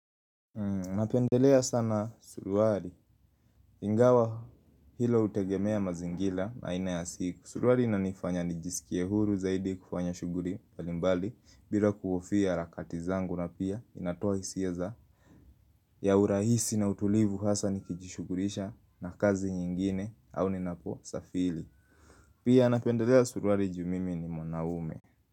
Napendelea sana suruari. Ingawa hilo hutegemea mazingila na ina ya siku. Suruari inanifanya nijisikie huru zaidi kufanya shuguri mbalimbali bila kuhofia harakati zangu na pia inatoa hisia ya urahisi na utulivu hasa nikijishugurisha na kazi nyingine au ninaposafili. Pia napendelea suruari juu mimi ni mwanaume.